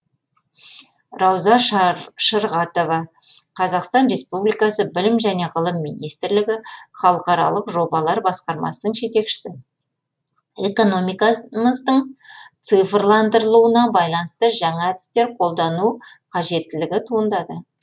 рауза шырғатова қазақстан республикасы білім және ғылым министрлігі халықаралық жобалар басқармасының жетекшісі экономикамыздың цифрландырылуына байланысты жаңа әдістер қолдану қажеттілігі туындады